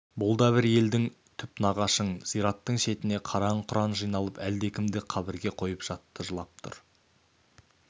бұл да бір елің түп нағашың зираттың шетіне қараң-құраң жиналып әлдекімді қабірге қойып жатты жылап тұр